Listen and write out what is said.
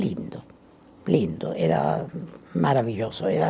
lindo, lindo, era maravilhoso. Era